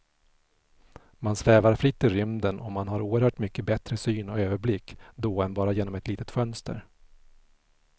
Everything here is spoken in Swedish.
Man svävar fritt i rymden och man har oerhört mycket bättre syn och överblick då än bara genom ett litet fönster.